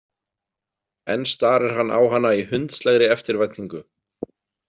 Enn starir hann á hana í hundslegri eftirvæntingu.